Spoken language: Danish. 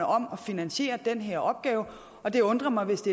om at finansiere den her opgave og det undrer mig hvis